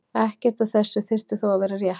Ekkert af þessu þyrfti þó að vera rétt.